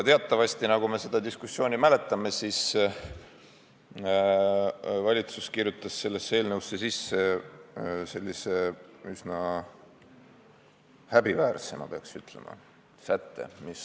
Teatavasti aga, nagu me tookordsest diskussioonist mäletame, valitsus kirjutas eelnõusse sisse sellise üsna, peaks ütlema, häbiväärse sätte.